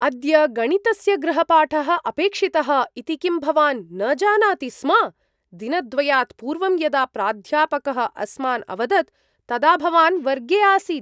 अद्य गणितस्य गृहपाठः अपेक्षितः इति किं भवान् न जानाति स्म? दिनद्वयात् पूर्वं यदा प्राध्यापकः अस्मान् अवदत् तदा भवान् वर्गे आसीत्।